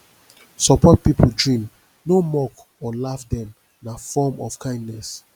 support pipo dream no mock or laugh dem na form of kindness